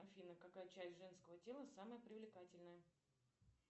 афина какая часть женского тела самая привлекательная